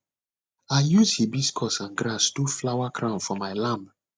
i use hibiscus and grass do flower crown for my lamb